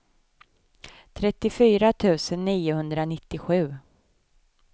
trettiofyra tusen niohundranittiosju